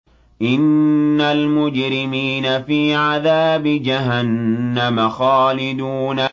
إِنَّ الْمُجْرِمِينَ فِي عَذَابِ جَهَنَّمَ خَالِدُونَ